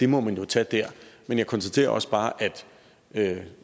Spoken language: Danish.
må man jo tage der men jeg konstaterer også bare at